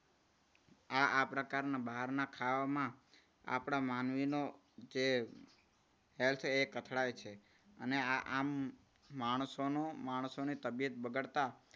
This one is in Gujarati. આ આ પ્રકારના બહારના ખાવામાં આપણા માનવીનો જે health કે અથડાય છે. અને આ આમ માણસોનું માણસોની તબિયત બગાડતા